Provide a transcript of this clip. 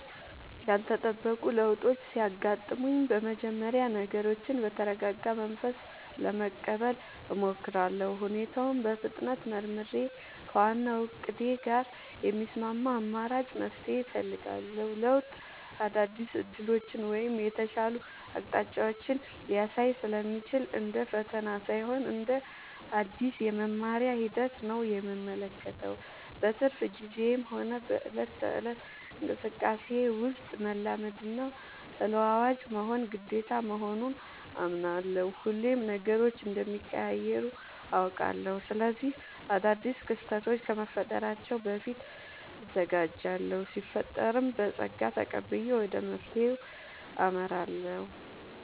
ያልተጠበቁ ለውጦች ሲያጋጥሙኝ በመጀመሪያ ነገሮችን በተረጋጋ መንፈስ ለመቀበል እሞክራለሁ። ሁኔታውን በፍጥነት መርምሬ፣ ከዋናው እቅዴ ጋር የሚስማማ አማራጭ መፍትሄ እፈልጋለሁ። ለውጥ አዳዲስ ዕድሎችን ወይም የተሻሉ አቅጣጫዎችን ሊያሳይ ስለሚችል፣ እንደ ፈተና ሳይሆን እንደ አዲስ የመማሪያ ሂደት ነው የምመለከተው። በትርፍ ጊዜዬም ሆነ በዕለት ተዕለት እንቅስቃሴዬ ውስጥ፣ መላመድና ተለዋዋጭ መሆን ግዴታ መሆኑን አምናለሁ። ሁሌም ነገሮች እንደሚቀያየሩ አውቃለሁ። ስለዚህ አዳዲስ ክስተቶች ከመፈጠራቸው በፊት እዘጋጃለሁ ሲፈጠርም በፀጋ ተቀብዬ ወደ መፍትሄው አመራለሁ።